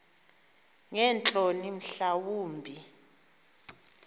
ngeentloni mhla wumbi